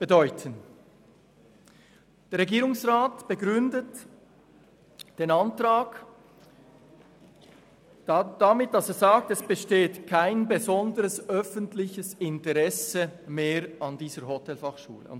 Der Regierungsrat begründet den Antrag damit, dass kein besonderes öffentliches Interesse mehr an dieser Fachschule bestehe.